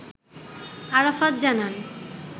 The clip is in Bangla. আরাফাত জানান